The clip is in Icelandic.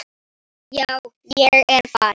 Já, ég er farinn.